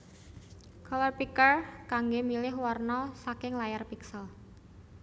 Color Picker kanggé milih warna saking layar piksel